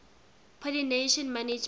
pollination management